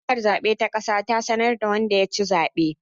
Hukumar zabe ta kasa ta sanar da wanda ya ci zaben